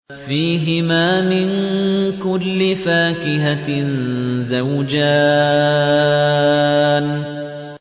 فِيهِمَا مِن كُلِّ فَاكِهَةٍ زَوْجَانِ